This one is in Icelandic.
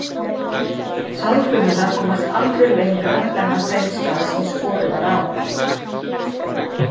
sáðfrumurnar komast aldrei lengra en að þeim stað sem skorið var á